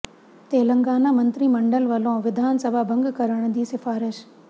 ਤੇਲੰਗਾਨਾ ਮੰਤਰੀ ਮੰਡਲ ਵੱਲੋਂ ਵਿਧਾਨ ਸਭਾ ਭੰਗ ਕਰਨ ਦੀ ਸਿਫਾਰਸ਼